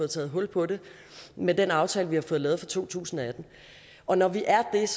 taget hul på det med den aftale vi har fået lavet for to tusind og atten og når vi er det er